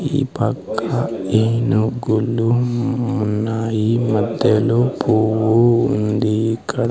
ఈ పక్క ఏనుగులు ఉన్నాయి మధ్యలో పువ్వు ఉంది ఇక్కడ.